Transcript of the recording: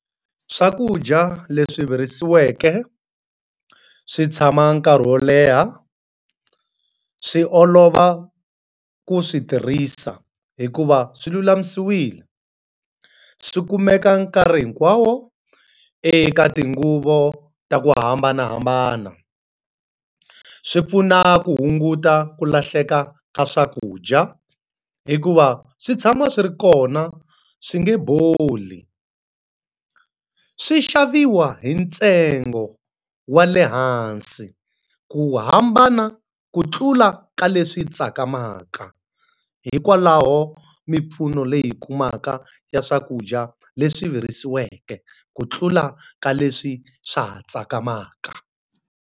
Swakudya leswi virisiweke, swi tshama nkarhi wo leha, swi olova ku swi tirhisa hikuva swi lulamisiwile. Swi kumeka nkarhi hinkwawo eka tinguva ta ku hambanahambana. Swi pfuna ku hunguta ku lahleka ka swakudya, hikuva swi tshama swi ri kona swi nge boli. Swi xaviwa hi ntsengo wa le hansi, ku hambana ku tlula ka leswi tsakamaka. Hikwalaho mimpfuno leyi hi kumaka ya swakudya leswi virisiweke, ku tlula ka leswi swa ha tsakamaka.